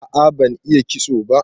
A'a ban iya kitso ba.